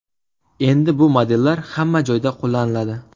Endi bu modellar hamma joyda qo‘llaniladi.